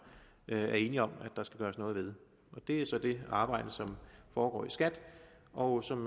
er enige om at der skal gøres noget ved det er så det arbejde som foregår i skat og som